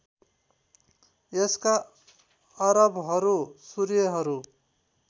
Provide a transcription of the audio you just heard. यसका अरबहरू सूर्यहरू